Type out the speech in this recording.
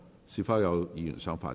是否有議員想發言？